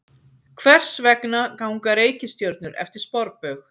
Hvers vegna ganga reikistjörnur eftir sporbaug?